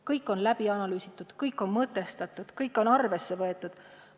Kõik on läbi analüüsitud, kõik on mõtestatud, kõike on arvesse võetud.